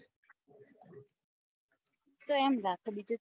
તો એમ રાખો બીજું શું